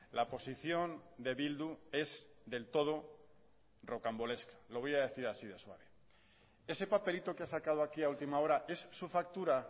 la posición de bildu es del todo rocambolesca lo voy a decir así de suave ese papelito que ha sacado aquí a última hora es su factura